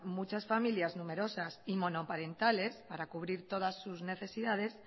muchas familias numerosas y monoparentales para cubrir todas sus necesidades